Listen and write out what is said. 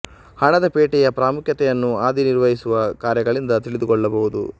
ಹಣದ ಪೇಟೆಯ ಪ್ರಾಮುಖ್ಯತೆಯನ್ನು ಅದಿ ನಿರ್ವಹಿಸುವ ಕಾರ್ಯಗಳಿಂದ ತಿಳಿದು ಕೊಳ್ಳಬಹುದು